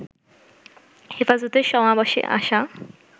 হেফাজতের সমাবেশে আসা